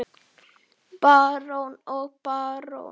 Barón og barón